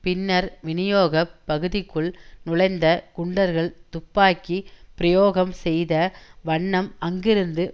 பின்னர் விநியோக பகுதிக்குள் நுழைந்த குண்டர்கள் துப்பாக்கி பிரயோகம் செய்த வண்ணம் அங்கிருந்து